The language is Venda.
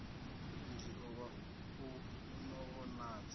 mudzio wa u no vhonadza